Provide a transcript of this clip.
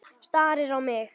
Starir á mig.